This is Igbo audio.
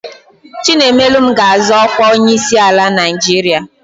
Chinaemelụm ga-azọ ọkwa onyeisiala Naijiria.